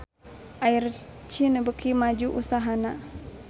Air China beuki maju usahana